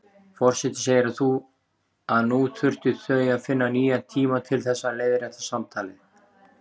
Forseti segir að nú þurfi þau að finna nýjan tíma til þess að leiðrétta samtalið.